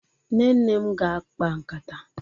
Nne m ga-akpa nkata.